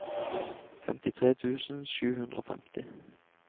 femtitre tusen sju hundre og femti